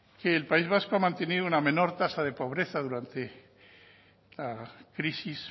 que el país vasco ha mantenido una menor tasa de pobreza durante la crisis